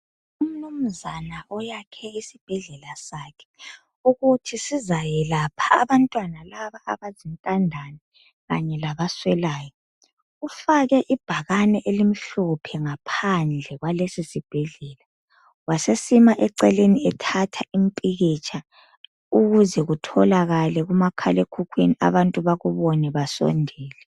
Umnumzana oyakhe isibhedlele sakhe ukuthi sizayelapha abantwana laba abazintandane kanye labaswelayo. Ufake ibhakani elimhlophe ngaphandle kwalesibhedlela. Wasesima eceleni ethatha impikitsha ukuze kutholakale kumakhalekhukhwini abantu bakubone basondele.